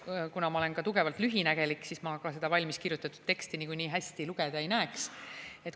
Ja kuna ma olen ka tugevalt lühinägelik, siis ma seda valmiskirjutatud teksti niikuinii hästi lugeda ei näeks.